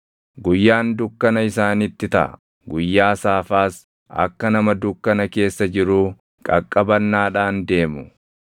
Guyyaan dukkana isaanitti taʼa; guyyaa saafaas akka nama dukkana keessa jiruu qaqqabannaadhaan deemu.